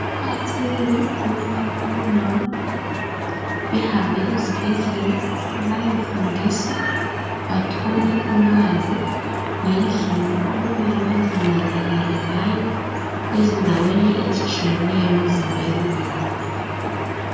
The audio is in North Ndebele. Kuqakathekile ukubana omama behambe esibhedlela bayofundiswa bathole ukwazi ngendlela okumele bazinakekele ngayo ezindaweni ezitshiyeneyo emzimbeni yabo.